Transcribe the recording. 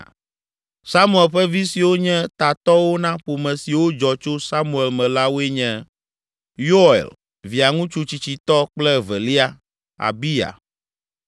Samuel ƒe vi siwo nye tatɔwo na ƒome siwo dzɔ tso Samuel me la woe nye: Yoel, Via ŋutsu tsitsitɔ kple evelia, Abiya.